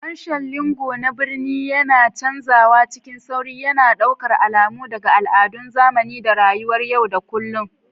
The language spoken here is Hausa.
Harshen lingo na birni yana canzawa cikin sauri, yana ɗaukar alamu daga al'adun zamani da rayuwar yau da kullun.